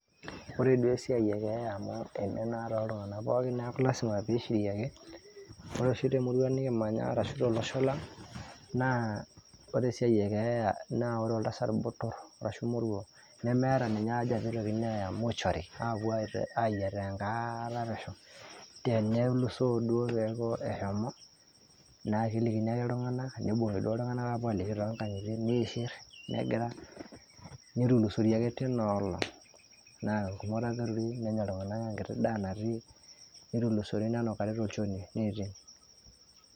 Ore duo esiai ekea amu eme naa toltung'anak pookin neeku lazima pishiri ake. Ore oshi temurua nikimanya ashu tolosho lang',naa ore esiai ekeeya, naa ore oltasat botor ashu moruo, nemeeta ninye aja pitokini aya mortuary ,apuo ayiataa enkaata pesho. Tenelusoo duo peeku eshomo, na kelikini ake iltung'anak, nibung'i duo iltung'anak apuo aliki tonkang'itie, niishir, negira, nitulusori ake tinoolong'. Na ore ake peturi, nenya iltung'anak enkiti daa natii, nitulusori nenukari tolchoni. Niiting'.